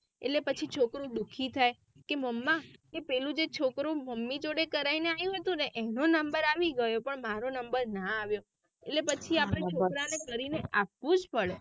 એટલે પછી છોકરું દુઃખી થાય કે મમ્મી કે પહેલું જે છોકરું મમ્મી જોડે કરાઈને આવ્યું હતું ને એનું નંબર આવી ગયું પણ મારો નંબર ના આવ્યું એટલે પછી આપળે છોકરાને કરીને આપવુંજ પડે.